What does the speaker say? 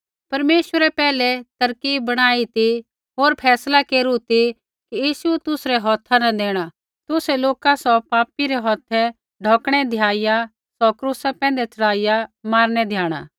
परमेश्वरै पैहलै तरकीब बणाई ती होर फैसला केरू ती कि यीशु तुसरै हौथा न देणा तुसै लोका सौ पापी रै हौथै ढौकणै द्याइया सौ क्रूसा पैंधै च़ढ़ाइया मारनै द्याणा